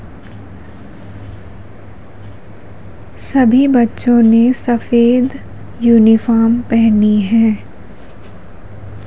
सभी बच्चों ने सफेद यूनिफॉर्म पहनी हैं।